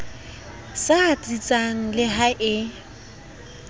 sa tsitsang le ha e